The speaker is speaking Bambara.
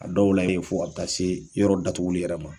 A dɔw la ye fo a bi taa se yɔrɔ datuguli yɛrɛ ma.